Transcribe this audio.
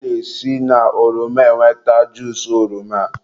a na-esi na ọrọma enweta juusu oroma.